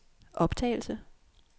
optagelse